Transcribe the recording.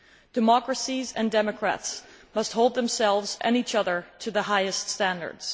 Democracies and democrats must hold themselves, and each other, to the highest standards.